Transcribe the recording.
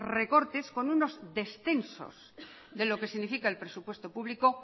recortes con unos descensos de lo que significa el presupuesto público